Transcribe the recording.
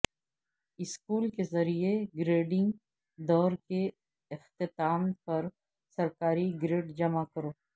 school کے ذریعہ grading دور کے اختتام پر سرکاری گریڈ جمع کرو